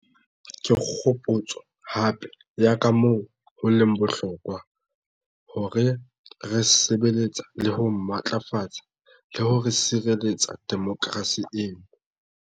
Ke kgopotso hape ya kamoo ho leng bohlokwa hore re sebe letsa le ho matlafatsa le ho sireletsa demokerasi eno.